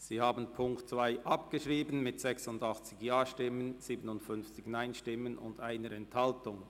Sie haben die Ziffer 2 abgeschrieben mit 86 Ja- gegen 57 Nein-Stimmen bei 1 Enthaltung.